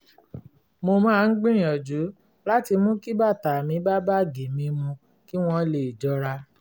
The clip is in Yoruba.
mo máa ń gbìyànjú láti mú kí bàtà mi bá báàgì mi mu kí wọ́n lè jọra